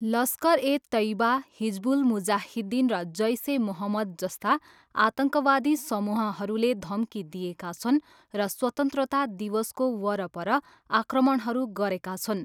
लस्कर ए तेइबा, हिजबुल मुजाहिद्दिन र जैस ए मोहम्मद जस्ता आतङ्कवादी समूहहरूले धम्की दिएका छन् र स्वतन्त्रता दिवसको वरपर आक्रमणहरू गरेका छन्।